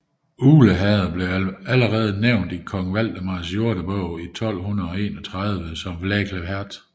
Ugle Herred blev allerede nævnt i kong Valdemars Jordebog i 1231 som Vgglæhæreth